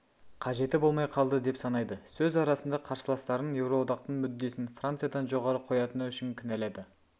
қажеті болмай қалды деп санайды сөз арасында қарсыластарын еуроодақтың мүддесін франциядан жоғары қоятыны үшін кінәлады